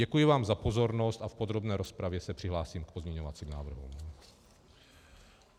Děkuji vám za pozornost a v podrobné rozpravě se přihlásím k pozměňovacím návrhům.